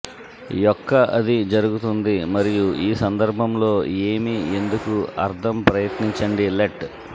యొక్క అది జరుగుతుంది మరియు ఈ సందర్భంలో ఏమి ఎందుకు అర్థం ప్రయత్నించండి లెట్